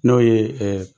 N'o ye